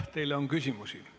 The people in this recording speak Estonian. Teile on küsimusi.